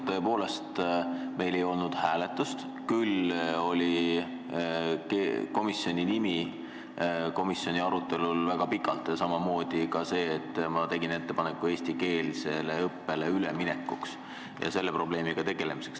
Tõepoolest, meil ei olnud hääletust, kuid komisjoni nimi oli väga pikalt arutelu all, samamoodi minu ettepanek eestikeelsele õppele üleminekuks ja selle probleemiga tegelemiseks.